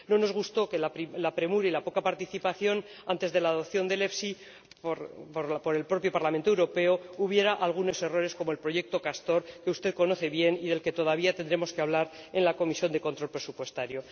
No nos gustó que, con la premura y la poca participación antes de la adopción del FEIE por el propio Parlamento Europeo, hubiera algunos errores como el proyecto Castor, que usted conoce bien y del que todavía tendremos que hablar en la Comisión de Control Presupuestario.